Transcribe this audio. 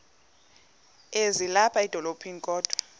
ezilapha edolophini kodwa